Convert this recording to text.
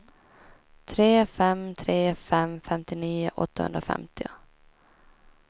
tre fem tre fem femtionio åttahundrafemtio